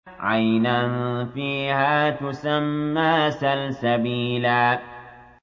عَيْنًا فِيهَا تُسَمَّىٰ سَلْسَبِيلًا